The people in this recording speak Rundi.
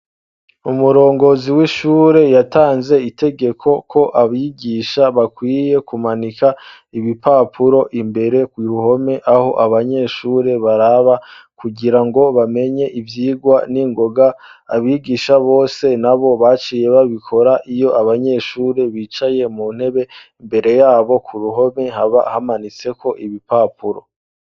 Umurongozi w'ishure yatanze itegeko ko abigisha bakwiye kumanika ibipapuro imbere ku ruhome aho abanyeshure baraba kugira ngo bamenye ivyigwa n'ingoga; abigisha bose nabo baciye babikora; iyo abanyeshure bicaye mu ntebe, imbere yabo ku ruhome haba hamanitseko ibipapuro.